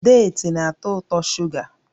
Deeti na-atọ ụtọ shuga